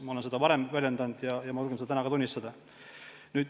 Ma olen seda varem öelnud ja julgen seda ka täna tunnistada.